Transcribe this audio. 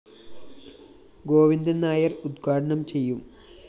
ഗോവിന്ദന്‍ നായര്‍ ഉദ്ഘാടനം ചെയ്യും